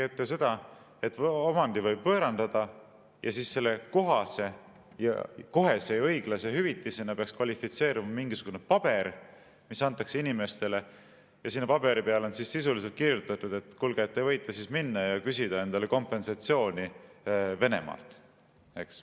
Nägi ette seda, et omandi võib võõrandada ja selle kohese ja õiglase hüvitisena peaks kvalifitseeruma mingisugune paber, mis antakse inimestele, ja sinna paberi peale on sisuliselt kirjutatud, et te võite minna ja küsida endale kompensatsiooni Venemaalt, eks.